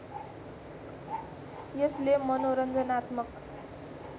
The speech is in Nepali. यसले मनोरञ्जनात्मक